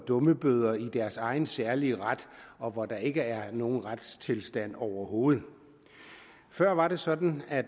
dummebøder i deres egen særlige ret og hvor der ikke er nogen retstilstand overhovedet før var det sådan at